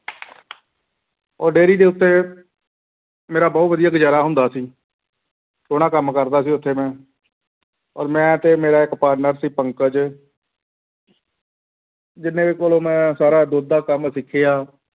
ਉਹ dairy ਦੇ ਉੱਤੇ ਮੇਰਾ ਬਹੁਤ ਵਧੀਆ ਗੁਜ਼ਾਰਾ ਹੁੰਦਾ ਸੀ ਸੋਹਣਾ ਕੰਮ ਕਰਦਾ ਸੀ ਉੱਥੇ ਮੈਂ ਔਰ ਮੈਂ ਤੇ ਮੇਰਾ ਇੱਕ partner ਸੀ ਪੰਕਜ ਜਿਹਦੇ ਕੋਲੋਂ ਮੈਂ ਸਾਰਾ ਦੁੱਧ ਦਾ ਕੰਮ ਸਿੱਖਿਆ।